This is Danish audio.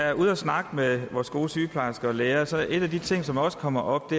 er ude at snakke med vores gode sygeplejersker og læger sig at en af de ting som også kommer op